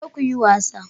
Ku je ku yi wasa.